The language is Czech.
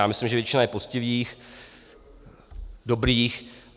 Já myslím, že většina je poctivých, dobrých.